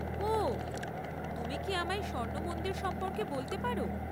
ওঃ, তুমি কি আমায় স্বর্ণ মন্দির সম্পর্কে বলতে পার?